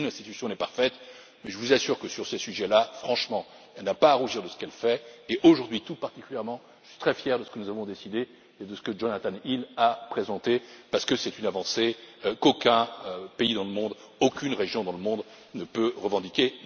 Aucune institution ne l'est, mais je vous assure que, sur ces sujets, franchement, elle n'a pas à rougir de ce qu'elle fait et, aujourd'hui, tout particulièrement, je suis très fier de ce que nous avons décidé et de ce que Jonathan Hill a présenté, parce que c'est une avancée qu'aucun pays dans le monde, aucune région dans le monde ne peut revendiquer.